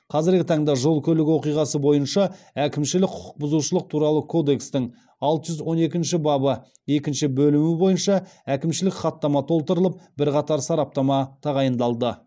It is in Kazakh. қазіргі таңда жол көлік оқиғасы бойынша әкімшілік құқық бұзушылық туралы кодекстің алты жүз он екінші бабы екінші бөлімі бойынша әкімшілік хаттама толтырылып бірқатар сараптама тағайындалды